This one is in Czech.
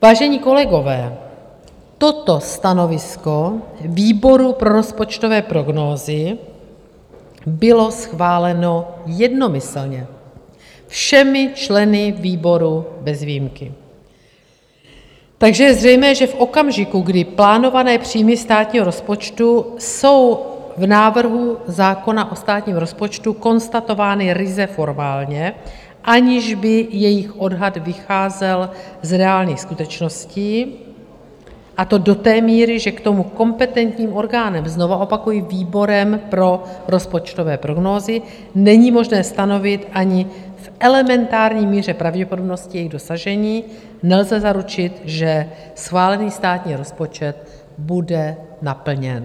Vážení kolegové, toto stanovisko výboru pro rozpočtové prognózy bylo schváleno jednomyslně všemi členy výboru bez výjimky, takže je zřejmé, že v okamžiku, kdy plánované příjmy státního rozpočtu jsou v návrhu zákona o státním rozpočtu konstatovány ryze formálně, aniž by jejich odhad vycházel z reálných skutečností, a to do té míry, že k tomu kompetentním orgánem, znovu opakuji, výborem pro rozpočtové prognózy, není možné stanovit ani v elementární míře pravděpodobnosti jejich dosažení, nelze zaručit, že schválený státní rozpočet bude naplněn.